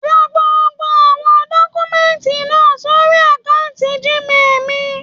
Rán gbogbo awọn dọkumẹ̀ntí náà sórí akanti Gmail mí.